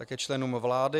Také členům vlády.